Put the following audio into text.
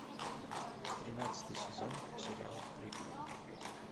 тринадцатый сезон сериал прикуп